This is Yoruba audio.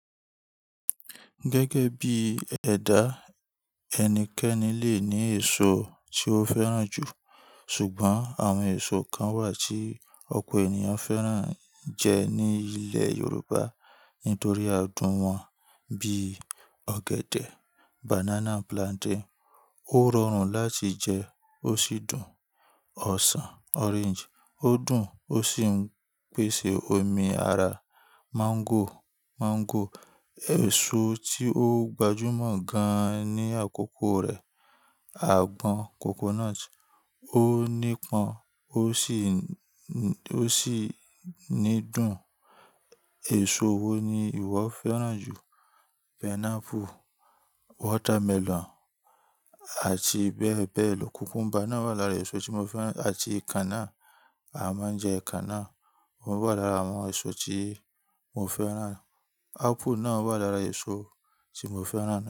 Gẹ́gẹ́ bí ẹ̀dá, ẹnikẹ́ni lè ní èso tí ó fẹ́ràn jù. Ṣùgbọ́n àwọn èso kan wà tí ọ̀pọ̀ ènìyàn fẹ́ràn jẹ ní ilẹ̀ Yorùbá nítorí adùn wọn bí i ọ̀gẹ̀dẹ̀. Banana and plantain Ó rọrùn láti jẹ, ó sì dùn. Ọ̀sàn orange o dùn, ó sì ń pèsè omi ara. Máńgò, èso tí ó gbajúmọ̀ gan-an ní àkókò rẹ̀. Àgbọn coconut ó nípọn, ó sì nídùn. Èso wo ni ìwọ fẹ́ràn jù? Pineapple, watermelon àti bẹ́ẹ̀ bẹ́ẹ̀ lọ. Cucumber náà wà lára èso tí mo fẹ́ràn àti kanna. A máa ń jẹ kanna. Ó wà lára àwọn èso tí mo fẹ́ràn. Apple náà wà lára èso tí mo fẹ́ràn.